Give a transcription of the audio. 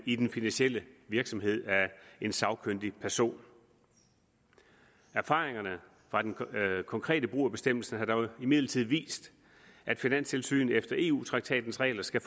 i den finansielle virksomhed af en sagkyndig person erfaringerne fra den konkrete brug af bestemmelsen har dog imidlertid vist at finanstilsynet efter eu traktatens regler skal